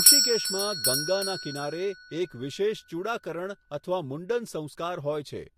ઋષિકેશમાં, ગંગાના કિનારે, એક વિશેષ ચૂડાકરણ અથવા મુંડન સંસ્કાર હોય છે.